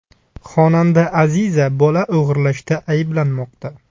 Xonanda Aziza bola o‘g‘irlashda ayblanmoqda .